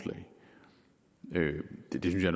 det er